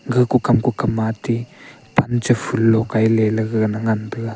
gako kamko kama ti ja phoolo Kai lele gagana ngan taiga.